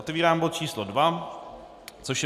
Otevírám bod číslo 2, což je